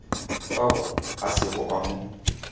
fao a sego a mo